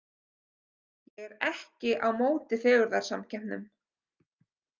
Ég er ekki á móti fegurðarsamkeppnum.